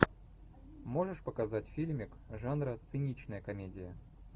можешь показать фильмик жанра циничная комедия